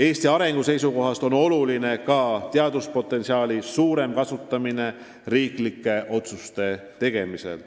Eesti arengu seisukohast on oluline ka teaduspotentsiaali suurem kasutamine riiklikult tähtsate otsuste tegemisel.